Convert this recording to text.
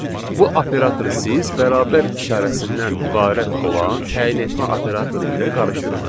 Bu operatoru siz bərabər işarəsindən ibarət olan təyin etmə operatoru ilə qarışdırmayın.